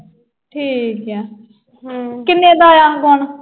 ਠੀਕ ਆ। ਕਿੰਨੇ ਦਾ ਆਇਆ ਗੌਨ?